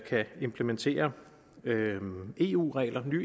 kan implementere nye eu regler